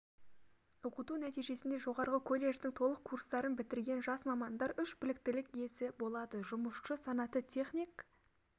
оқыту нәтижесінде жоғарғы колледждің толық курстарын бітірген жас мамандар үш біліктілік иесі болады жұмысшы санаты техник